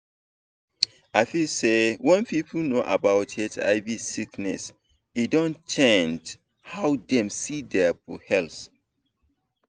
i feel say wen people know about hiv sickness e don change how dem see dia health